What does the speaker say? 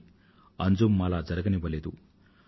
కానీ అంజుమ్ అలా జరగనివ్వలేదు